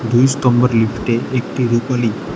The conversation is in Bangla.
দুই স্তম্ভর লিফটে একটি রুপালি।